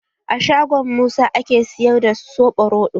A shangon Musa ake siyar da soɓo roɗo?